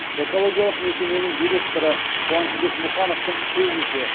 экологиялық мекеменің директоры қуанышбек мұхановтың сөзінше